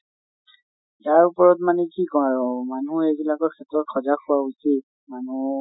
তাৰ ওপৰত মানে কি কম মানুহ এইবিলাকৰ ক্ষেত্ৰত সিজাগ হোৱা উচিত মানেহ